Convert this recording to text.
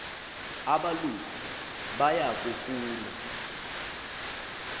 abalusi baya kufuna